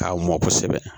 K'a mɔn kosɛbɛ